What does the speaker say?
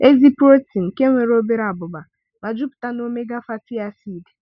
Ezi protein, nke nwere obere abụba ma jupụta na omega fatty acids.